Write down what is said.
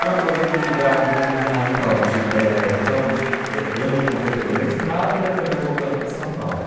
Nossas atividades desde... Ah, então, de, eh, então, de eh, eu não completei o mestrado e acabei voltando para São Paulo.